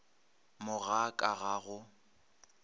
mo ga ka ga go